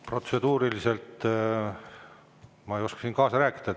Protseduuriliselt ma ei oska siin kaasa rääkida.